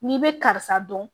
N'i bɛ karisa dɔn